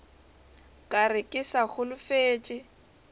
ka re ke sa holofetše